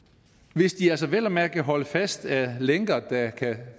hvis de altså vel at mærke kan holdes fast af lænker der kan